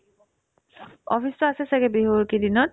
office তো আছে ছাগে বিহুৰ এইকেইদিনত